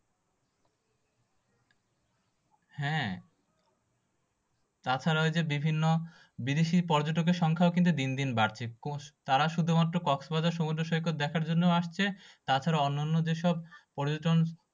হ্যাঁ তাছাড়া ঐযে বিভিন্ন বিদেশী পর্যটকের সংখ্যাও কিন্তু দিন দিন বাড়ছে। তারা শুধুমাত্র কক্সবাজার সমুদ্র সৈকত দেখার জন্য আসছে তাছাড়া অন্যান্য যেসব পর্যটন